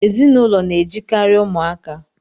Ezinụlọ na-ejikari umuaka